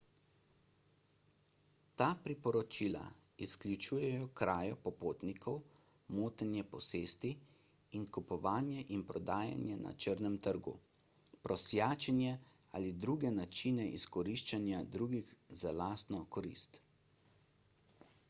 ta priporočila izključujejo krajo popotnikov motenje posesti kupovanje in prodajanje na črnem trgu prosjačenje ali druge načine izkoriščanja drugih za lastno korist